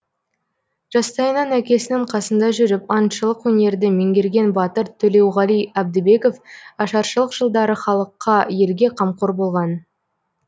жастайынан әкесінің қасында жүріп аңшылық өнерді меңгерген батыр төлеуғали әбдібеков ашаршылық жылдары халыққа елге қамқор болған